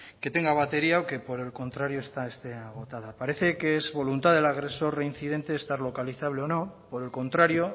que tenga batería o que por el contrario está este agotada parece que es voluntad del agresor reincidente estar localizable o no por el contrario